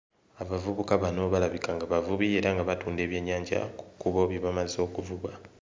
Abavubuka bano balabika nga bavubi era nga batunda ebyennyanja ku kkubo bye bamaze okuvuba.